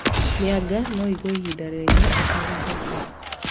Mĩanga no ĩigwo ihinda iraihu ĩtegũthũka